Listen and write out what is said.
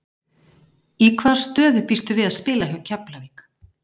Í hvaða stöðu býstu við að spila hjá Keflavík?